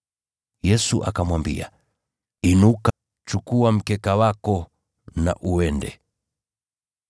Yesu akamwambia, “Inuka! Chukua mkeka wako na uende.”